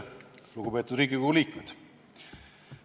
Lugupeetud Riigikogu liikmed!